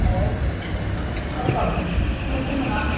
Brauðið er alveg ágætt.